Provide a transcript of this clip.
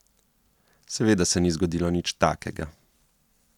Seveda se ni zgodilo nič takega.